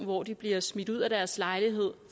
hvor de bliver smidt ud af deres lejlighed